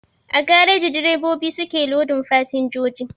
A gareji direbobi su ke lodin fasinjoji